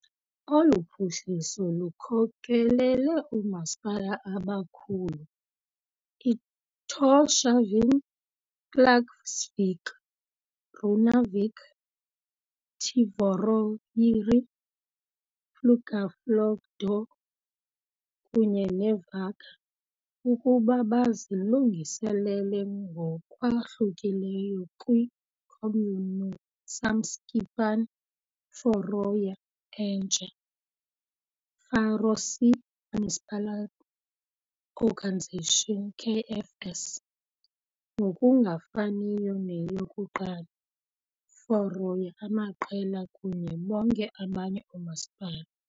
Olu phuhliso lukhokelele oomasipala abakhulu, Tórshavn, Klaksvík, Runavík, Tvøroyri, Fuglafjørður kunye ne Vágur, ukuba bazilungiselele ngokwahlukileyo kwi, Kommunusamskipan Føroya, entsha Faroese Municipal, Organisation, KFS, ngokungafaniyo neyokuqala, Føroya, amaqela kunye bonke abanye oomasipala.